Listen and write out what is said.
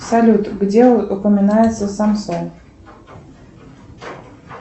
салют где упоминается самсон